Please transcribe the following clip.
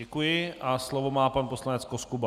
Děkuji a slovo má pan poslanec Koskuba.